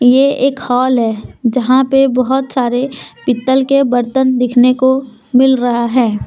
ये एक हॉल है जहां पे बहुत सारे पीतल के बर्तन दिखने को मिल रहा है।